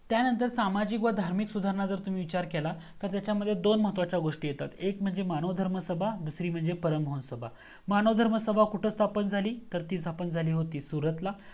त्यानंतर सामाजिक आणि धार्मिक सुधारणाचा जर तुम्ही विचार केला तर त्याच्यामध्ये दोन महत्वाचे गोस्टी येतात एक म्हणजे मानव धर्म सभा आणि दुसरी म्हणजे परीमोहन सभा. मानव धर्म सभा कुठे स्थापन झाली तर ती स्थापन झाली होती सूरत ला